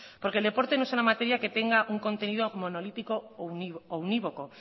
porque el deporte no es una materia que tenga un contenido monolítico o unívoco